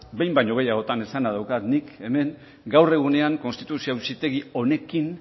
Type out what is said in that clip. behin baino gehiagotan esana daukat nik hemen gaur egunean konstituzio auzitegi honekin